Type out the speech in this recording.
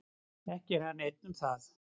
Ekki er hann einn um það.